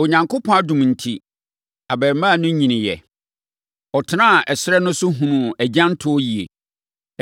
Onyankopɔn adom enti, abarimaa no nyiniiɛ. Ɔtenaa ɛserɛ no so hunuu agyantoɔ yie.